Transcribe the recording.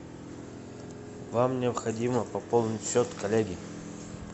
вам необходимо пополнить счет коллеги